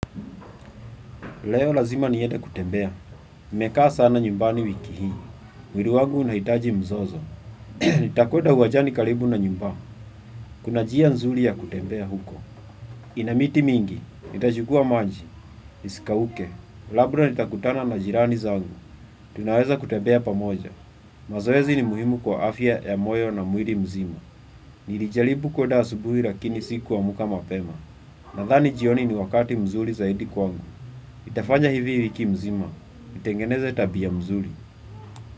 Leo, lazima niende kutembea. Nimekaa sana nyumbani wiki hii. Mwili wangu unahitaji mzozo. Nitakwenda uwanjani karibu na nyumbaa. Kuna njia nzuri ya kutembea huko. Ina miti mingi. Nitachukua maji. Isikauke. Labura nitakutana na jirani zangu. Tunaweza kutembea pamoja. Mazoezi ni muhimu kwa afya ya moyo na mwili mzima. Nilijalibu kwenda asubuhi. Lakini sikuamka mapema. Nadhani njioni ni wakati mzuri zaidi kwangu. Itafanja hivi hii wiki nzima. Kutengeneza tabia muzuri.